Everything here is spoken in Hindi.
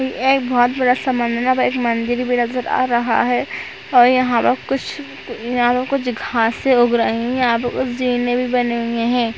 यह एक बहुत बड़ा समंदर एक मंदिर भी नज़र आ रहा है और यहाँ पर कुछ यहाँ पर कुछ घासें उग रही है। यहाँ पर कुछ जीने भी बने हुए है।